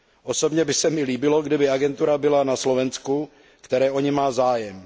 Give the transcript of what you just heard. Osobně by se mi líbilo, kdyby agentura byla na Slovensku, které o ni má zájem.